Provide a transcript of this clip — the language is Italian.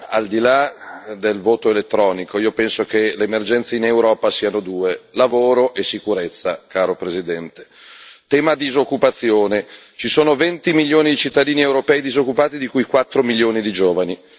Al di là del voto elettronico, io penso che le emergenze in Europa siano due lavoro e sicurezza, caro Presidente. Tema disoccupazione ci sono venti milioni di cittadini europei disoccupati, di cui quattro milioni di giovani.